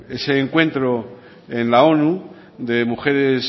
en ese encuentro en la onu de mujeres